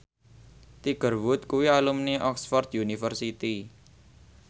Tiger Wood kuwi alumni Oxford university